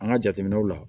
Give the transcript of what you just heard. An ka jateminɛw la